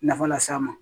Nafa las'a ma